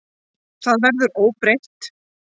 Það verður óbreytt.